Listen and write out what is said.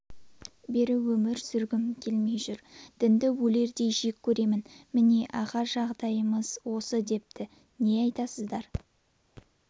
бері өмір сүргім келмей жүр дінді өлердей жек көремін міне аға жағдаймыз осы-депті не айтасыздар